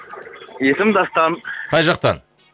есімім дастан қай жақтан